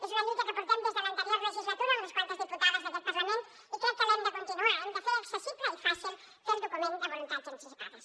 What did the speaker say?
és una lluita que portem des de l’anterior legislatura unes quantes diputades d’aquest parlament i crec que l’hem de continuar hem de fer accessible i fàcil fer el document de voluntats anticipades